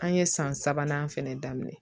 An ye san sabanan fɛnɛ daminɛ